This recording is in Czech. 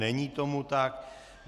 Není tomu tak.